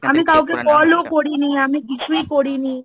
আমি কাউকে call ও করিনি, কিছুই করিনি